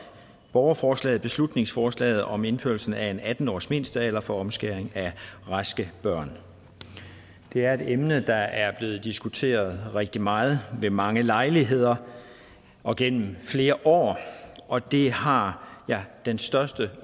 borgerforslaget beslutningsforslaget om indførelse af en atten årsmindstealder for omskæring af raske børn det er et emne der er blevet diskuteret rigtig meget ved mange lejligheder og gennem flere år og det har jeg den største